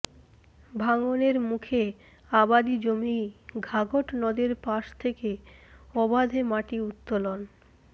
ভাঙনের মুখে আবাদি জমি ঘাঘট নদের পাশ থেকে অবাধে মাটি উত্তোলন